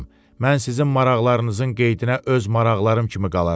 Mən sizin maraqlarınızın qeydinə öz maraqlarım kimi qalaram.